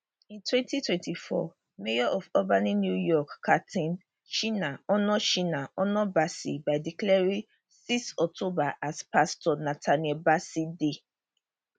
in 2024 mayor of albany new york kathy sheehan honour sheehan honour bassey by declaring 6 october as pastor nathaniel bassey day